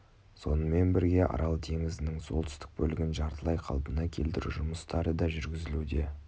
сонымен бірге арал теңізінің солтүстік бөлігін жартылай қайта қалпына келтіру жұмыстары да жүргізілуде